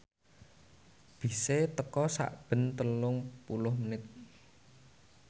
bise teka sakben telung puluh menit